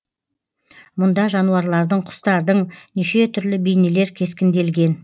мұнда жануарлардың құстардың неше түрлі бейнелер кескінделген